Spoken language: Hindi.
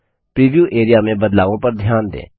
प्रीव्यू एरिया में बदलावों पर ध्यान दें